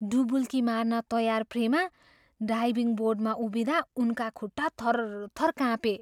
डुबुल्की मार्न तयार प्रेमा डाइभिङ बोर्डमा उभिँदा उनका खुट्टा थरथर काँपे।